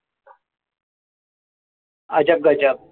अजबगजब.